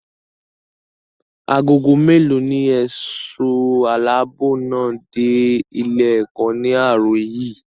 Ago mélòó ní ẹ̀ṣọ́ aláàbò náà dé ilé-ẹ̀kọ́ ní àárọ̀ yìí?